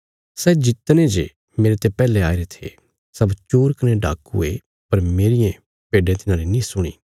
सै जितने जे मेरते पैहले आईरे थे सब चोर कने डाकू ये पर मेरियें भेड्डें तिन्हारी नीं सुणी